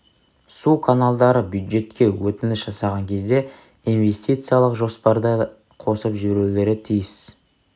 суканалдары бюджетке өтініш жасаған кезде инвестициялық жоспарды да қосып жіберулері тиіс